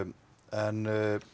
en